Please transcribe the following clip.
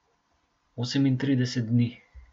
Osemintrideset dni.